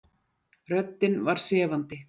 Röddin var sefandi.